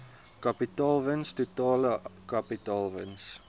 kapitaalwins totale kapitaalwins